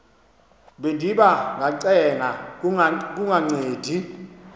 bendiba ngacenga kungancedi